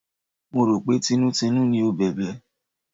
Mo rò pé tinútinú ni ó bẹ̀bẹ̀.